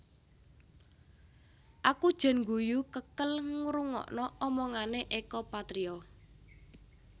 Aku jan ngguyu kekel ngrungokno omongane Eko Patrio